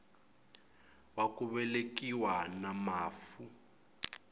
wa ku velekiwa na mafu